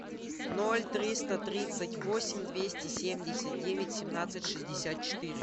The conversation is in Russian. ноль триста тридцать восемь двести семьдесят девять семнадцать шестьдесят четыре